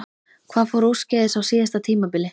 Hvað fór úrskeiðis á síðasta tímabili?